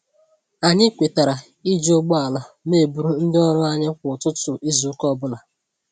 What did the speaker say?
Anyị kwetara iji ụgbọala n'eburu ndị ọrụ anyị kwá ụtụtụ izu ụka ọbula